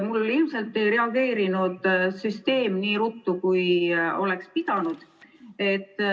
Mul ilmselt ei reageerinud süsteem nii ruttu, kui oleks pidanud.